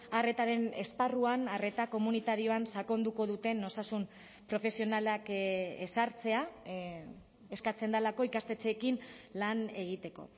arretaren esparruan arreta komunitarioan sakonduko duten osasun profesionalak ezartzea eskatzen delako ikastetxeekin lan egiteko